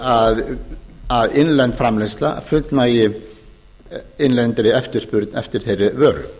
að að innlend framleiðsla fullnægi innlendri eftirspurn eftir þeirri vöru